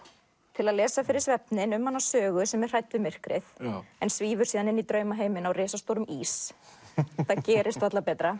til að lesa fyrir svefninn um hana Sögu sem er hrædd við myrkrið en svífur síðan inn í draumaheiminn á risastórum ís það gerist varla betra